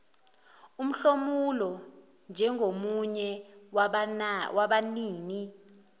umhlomulo njengomunye wabanini